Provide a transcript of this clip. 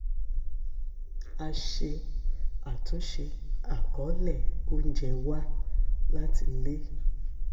a ṣe àtúnṣe àkọ̀ọ́lẹ̀ oúnjẹ wa láti lè